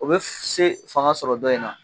O bɛ se fanga sɔrɔ dɔ in na.